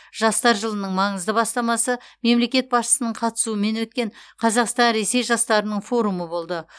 жастар жылының маңызды бастамасы мемлекет басшысының қатысуымен өткен қазақстан ресей жастарының форумы болды